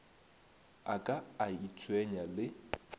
a ka a itshwenya le